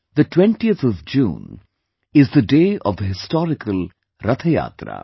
the 20th of June is the day of the historical Rath Yatra